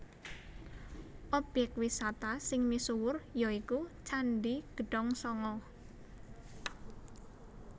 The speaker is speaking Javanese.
Objèk wisata sing misuwur ya iku Candhi Gedhongsanga